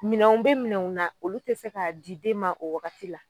Minɛnw be minɛnw na olu te se ka di den ma o wagati la.